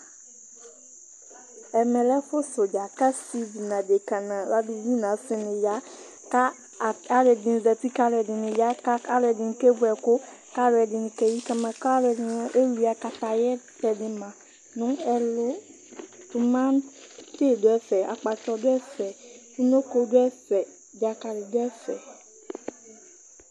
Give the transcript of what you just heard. Ɛmɛ lɛ ɛfu sɛ uɖzà, ku asivi nu áɖeka, nu ɔlɔɖibi, nu asini ya Ka aliɛɖini zãti, ka aliɛɖini ya, ka aliɛɖini kevu ɛku, ka aliɛɖini keyi kamã, ka aliɛɖini ewuǝ kataya kɔɖu mã nu ɛlu Sumɛ, tuŋ ɖu ɛfɛ, akpatsɔ du ɛfɛ, unoko du ɛfɛ, ɖzakali du ɛfɛ